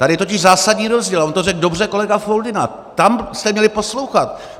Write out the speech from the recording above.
Tady je totiž zásadní rozdíl, a on to řekl dobře kolega Foldyna, tam jste měli poslouchat.